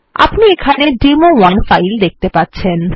আপনি এখানে demo one file দেখতে পাচ্ছেন